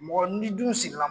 Mɔgɔ n'i dun sigila